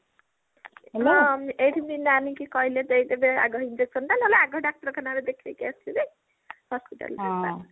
ହଁ ଏଇଠି ମିନା ନାନିଙ୍କ କହିଲେ ଦେଇଦେବେ ଆଘ injection ଟା ନହେଲେ ଆଘ ଡାକ୍ତରଖାନାରେ ଦେଖେଇକି ଆସିବେ hospital ରେ